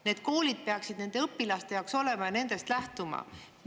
Need koolid peaksid olema nende õpilaste jaoks ja nendest lähtuma.